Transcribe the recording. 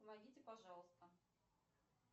помогите пожалуйста